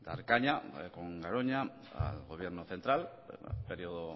dar caña con garoña al gobierno central en periodo